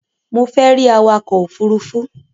Mo fẹ́ rí awakọ ofurufu